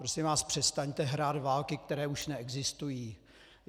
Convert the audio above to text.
Prosím vás, přestaňte hrát války, které už neexistují.